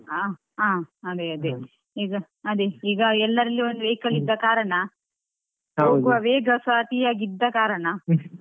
ಹಾ ಆ ಅದೆ ಅದೆ ಈಗ ಅದೆ ಈಗ ಎಲ್ಲರಲ್ಲಿ ಒಂದು vehicle ಇದ್ದ ಕಾರಣ. ವೇಗಸಾ ಅತಿಯಾಗಿ ಆಗಿ ಇದ್ದ ಕಾರಣ .